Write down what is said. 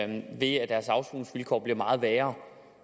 det ved at deres afsoningsvilkår bliver meget værre